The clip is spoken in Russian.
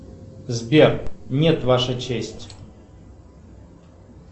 сбер нет ваша честь